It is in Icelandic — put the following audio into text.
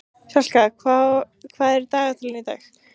Selka, hvað er á dagatalinu í dag?